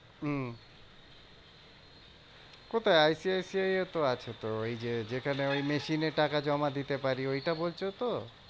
হম কোথায়? I C I C I এও তো আছে তো ওই যে যেখানে ওই machine এ টাকা জমা দিতে পারি ওইটা বলছো তো?